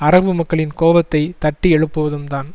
அரபு மக்களின் கோபத்தை தட்டி எழுப்புவதும் தான்